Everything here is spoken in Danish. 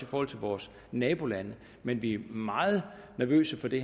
forhold til vores nabolande men vi er meget nervøse for det